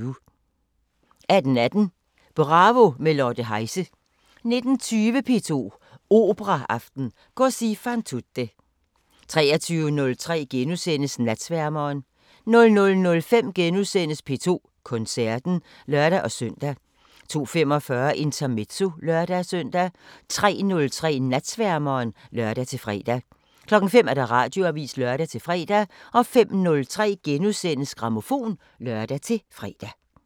18:18: Bravo – med Lotte Heise 19:20: P2 Operaaften: Cosi fan tutte 23:03: Natsværmeren * 00:05: P2 Koncerten *(lør-søn) 02:45: Intermezzo (lør-søn) 03:03: Natsværmeren (lør-fre) 05:00: Radioavisen (lør-fre) 05:03: Grammofon *(lør-fre)